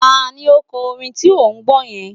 Ta ni ó kọ orin tí ò ń gbọ́ yẹn?